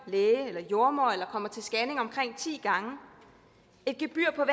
læge eller jordemoder eller kommer til scanning omkring ti gange et gebyr på